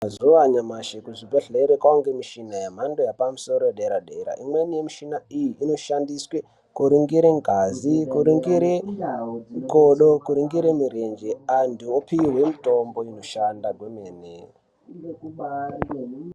Mazuva anyamashi kuzvidhedhlere kwavanikwe michina yemhando yepamusoro yedera-dera. Imweni yemishina iyi inoshandiswe kuringire ngazi, kuringire kodo, kuingire mirenje, antu vopihwe mitombo inoshanda kwemene.